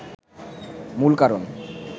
মূল কারণ